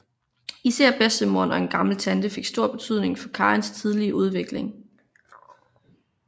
Især bedstemoderen og en gammel tante fik stor betydning for Karins tidlige udvikling